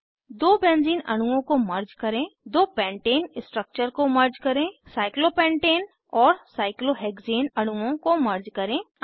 दो बेंज़ीन अणुओं को मर्ज करें दो पेंटाने पेन्टेन स्ट्रक्चर को मर्ज करें साइक्लोपेंटेन साइक्लोपेन्टेन और साइक्लोहेक्सेन साइक्लोहेक्ज़ेन अणुओं को मर्ज करें